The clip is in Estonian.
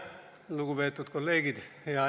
Lugupeetud kolleegid!